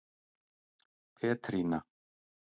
Petrína